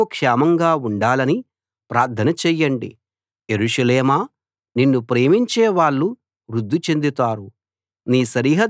యెరూషలేము క్షేమంగా ఉండాలని ప్రార్థన చేయండి యెరూషలేమా నిన్ను ప్రేమించేవాళ్ళు వృద్ది చెందుతారు